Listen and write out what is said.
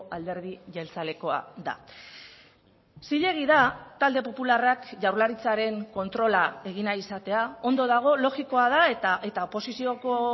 alderdi jeltzalekoa da zilegi da talde popularrak jaurlaritzaren kontrola egin nahi izatea ondo dago logikoa da eta oposizioko